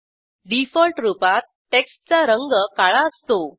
default रूपात टेक्स्टचा रंग काळा असतो